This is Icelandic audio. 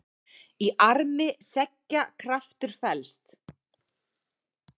Í armi seggja kraftur felst.